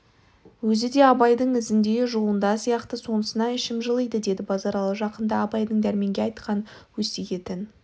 өзі де абайдың ізінде жолында сияқты сонысына ішім жылиды деді базаралы жақында абайдың дәрменге айтқан өсиетін